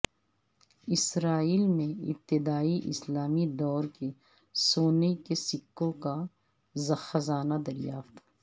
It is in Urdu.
اسرائیل میں ابتدائی اسلامی دور کے سونے کے سکوں کا خزانہ دریافت